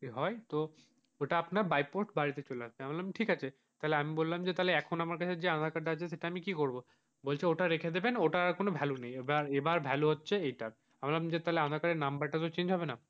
ওটা আপনার by post বাড়িতে চলে আসবে তাহলে ঠিক আছে তাহলে আমি বললাম যে এখন আমার কাছে যে আধার কার্ডটা আছে সেটা আমি কি করব ওটা রেখে দেবেন ওটার আর কোন value নেই এবার value হচ্ছে এটা আমি বললাম যে আধার কার্ডের number তো change হবে না,